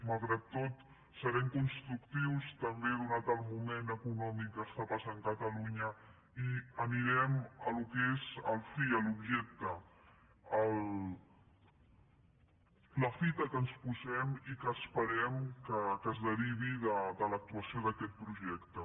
malgrat tot serem constructius també atès el moment econòmic que està passant catalunya i anirem al que és el fi l’objecte la fita que ens posem i que esperem que es derivi de l’actuació d’aquest projecte